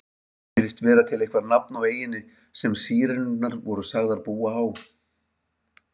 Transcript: Ekki virðist vera til eitthvað nafn á eyjunni sem Sírenurnar voru sagðar búa á.